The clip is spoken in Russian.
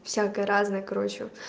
всякое разное короче